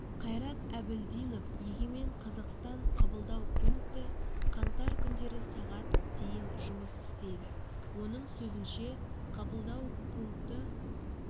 қайрат әбілдинов егемен қазақстан қабылдау пункті қаңтар күндері сағат дейін жұмыс істейді оның сөзінше қабылдау пункті